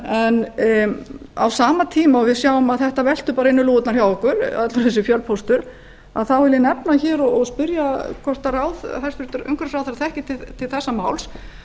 en á sama tíma og við sjáum að þetta veltur inn um lúgurnar hjá okkur allur þessi fjölpóstur þá vil ég nefna hér og spyrja hvort hæstvirtur umhverfisráðherra þekkir til þessa máls